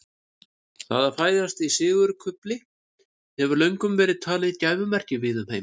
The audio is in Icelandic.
Það að fæðast í sigurkufli hefur löngum verið talið gæfumerki víða um heim.